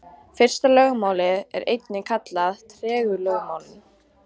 Fyrsta lögmálið er einnig kallað tregðulögmálið.